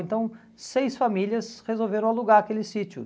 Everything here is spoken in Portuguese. Então, seis famílias resolveram alugar aquele sítio.